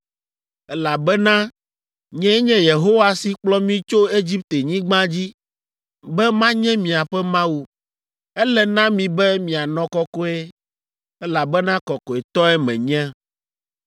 Elabena nyee nye Yehowa si kplɔ mi tso Egiptenyigba dzi be manye miaƒe Mawu. Ele na mi be mianɔ kɔkɔe, elabena kɔkɔetɔe menye.